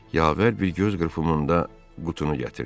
Yavər bir göz qırpımında qutunu gətirdi.